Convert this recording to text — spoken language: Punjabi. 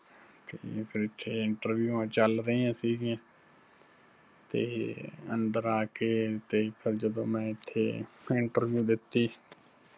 ਤੇ ਫਿਰ ਇੱਥੇ interview ਆਂ ਚੱਲ ਰਹੀਆਂ ਸਿਗੀਆਂ, ਤੇ ਅੰਦਰ ਆਕੇ ਤੇ ਫਿਰ ਜਦੋਂ ਮੈਂ ਇੱਥੇ interview ਦਿੱਤੀ